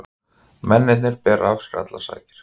Mennirnir bera af sér allar sakir